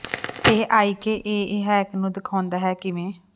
ਇਹ IKEA hack ਨੂੰ ਦਿਖਾਉਂਦਾ ਹੈ ਕਿ ਕਿਵੇਂ